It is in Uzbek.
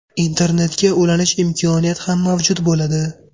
Internetga ulanish imkoniyati ham mavjud bo‘ladi.